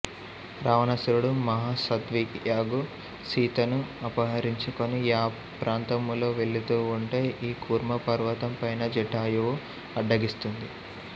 రావణాసురుడు మహాసాధ్వియగు సీతను అపహరించుకోని యా ప్రంతములో వేళ్ళుతూ వుంటే ఈ కూర్మ పర్వతం పైన జటాయువు అడ్డగిస్తుంది